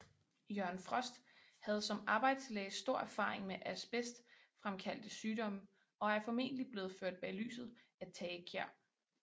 Jørgen Frost havde som arbejdslæge stor erfaring med asbestfremkaldte sygdomme og er formentlig blevet ført bag lyset af Tage Kjær